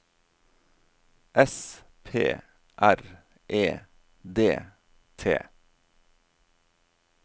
S P R E D T